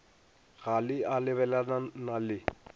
ga le a lebelelana le